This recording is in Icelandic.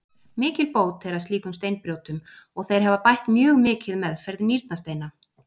Mikil bót er að slíkum steinbrjótum og þeir hafa bætt mjög mikið meðferð nýrnasteina.